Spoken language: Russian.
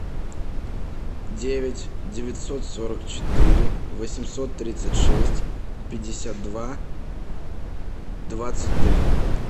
девять девятьсот сорок четыре восемьсот тридцать шесть пятьдесят два двадцать три